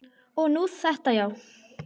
Og nú þetta, já.